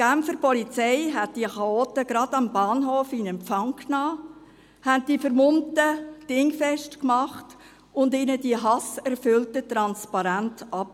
Die Genfer Polizei nahm diese Chaoten am Bahnhof in Empfang, machte die Vermummten Dingfest und nahm ihnen die hasserfüllten Transparente ab.